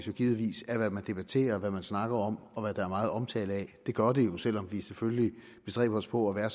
jo givetvis af hvad man debatterer hvad man snakker om og hvad der er meget omtale af det gør det jo selv om vi selvfølgelig bestræber os på at være